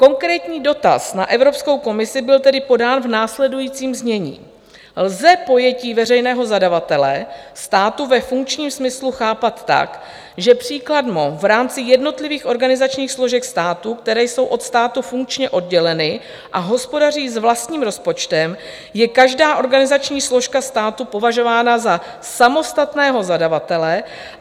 Konkrétní dotaz na Evropskou komisi byl tedy podán v následujícím znění: Lze pojetí veřejného zadavatele státu ve funkčním smyslu chápat tak, že příkladmo v rámci jednotlivých organizačních složek státu, které jsou od státu funkčně odděleny a hospodaří s vlastním rozpočtem, je každá organizační složka státu považována za samostatného zadavatele?